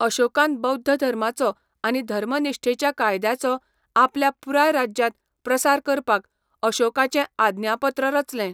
अशोकान बौध्द धर्माचो आनी 'धर्मनिश्ठेच्या कायद्याचो' आपल्या पुराय राज्यांत प्रसार करपाक अशोकाचें आज्ञापत्र रचलें.